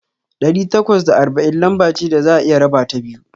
Ɗari takwas da arba'in lamba ce da za'a iya rabata biyu.